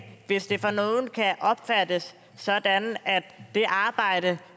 hvis det for nogle kan opfattes sådan at det arbejde